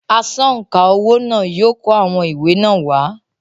“ Asọ̀ǹkà owó” náà yóò kó àwọn ìwé náà wá.